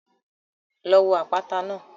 Lọ wo àpáta náà.